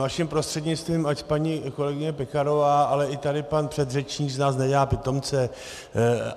Vaším prostřednictvím, ať paní kolegyně Pekarová, ale i tady pan předřečník z nás nedělá pitomce.